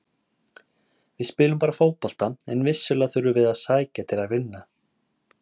Við spilum bara fótbolta en vissulega þurfum við að sækja til að vinna.